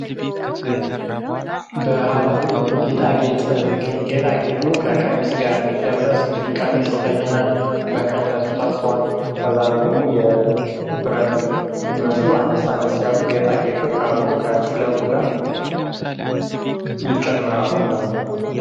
ባህላዊ የጌጣ ጌጥ ነው። ከቀሚስ ጋር ሚለበስ ንግሪክ አሚስ ተየናን መቀነሱት አስሯል ከዛሌ ደግሞ የብረት መስሉ አነሳ ነስ ያሉ ጌጣ ጌቶች አብሮ ከጥለቱ ጋር ይጨመራሉ ማለትነው።